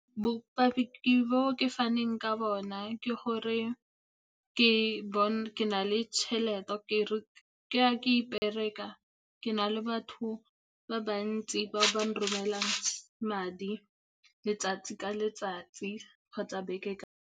Bopaki bo ke faneng ka bona ke gore ke a ke ipereka. Ke na le batho ba bantsi ba ba nromelang madi letsatsi ka letsatsi kgotsa beke ka beke.